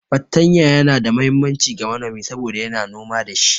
Fartanya Yana da muhimmanci ga manomi saboda yana noma da shi.